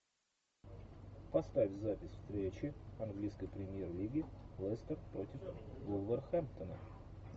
поставь запись встречи английской премьер лиги лестер против вулверхэмптона